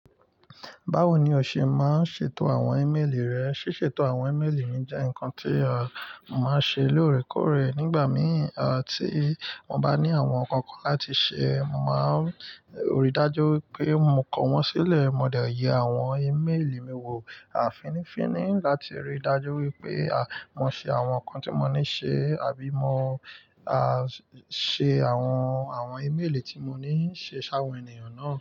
Báwo ni o ṣe máa ń ṣètò àwọn ímeèlì rẹ? Síṣètò àwọn ímeèlì mi jẹ́ nǹkan tí a mo ma ń ṣe lóòrèkóòrè. Nígbà mìí à tí mo bá ní àwọn nǹkan kan láti ṣe, mo ma n rí dájú wipé mo kọ wọ́n sílẹ̀. Mo dẹ̀ yẹ àwọn ímeèlì mi wò finífíní láti ríi dájú wípé à mo ṣe àwọn nǹkan tí mo ní ṣe àbí mo à ṣe àwọn, àwọn ímeèlì tí mo ní ń ṣe sáwọn ènìyàn náà.